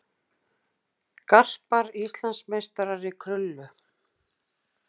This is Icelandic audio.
Það dugar í þessa stöðu.